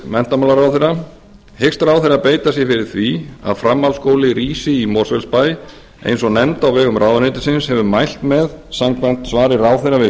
menntamálaráðherra hyggst ráðherra beita sér fyrir því að framhaldsskóli rísi í mosfellsbæ eins og nefnd á vegum ráðuneytisins hefur mælt með samkvæmt svari ráðherra við